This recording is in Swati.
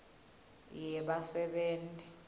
yebasebenti